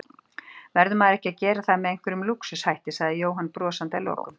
Verður maður ekki að gera það með einhverjum lúxus hætti? sagði Jóhann brosandi að lokum.